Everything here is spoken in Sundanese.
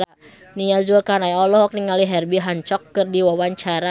Nia Zulkarnaen olohok ningali Herbie Hancock keur diwawancara